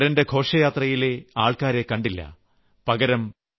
വിവാഹത്തിൽ വരന്റെ ഘോഷയാത്രയിലെ ആൾക്കാരെ കണ്ടില്ല